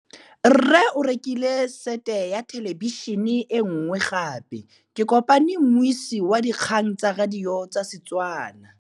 Rre o rekile sete ya thêlêbišênê e nngwe gape. Ke kopane mmuisi w dikgang tsa radio tsa Setswana.